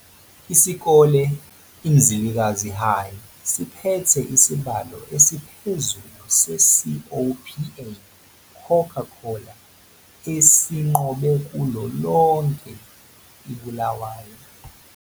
Isikole iMzilikazi High siphethe isibalo esiphezulu seCOPA Coca-Cola esinqobe kulo lonke iBulawayo.